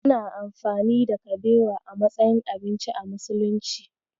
Ana amfani da kabewa a matsayin abinci a musulunci.